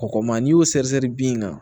Kɔgɔma n'i y'o sɛgɛsɛgɛ bin kan